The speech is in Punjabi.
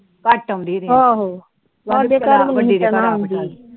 ਘੱਟ ਆਉਂਦੀ ਆਹੋ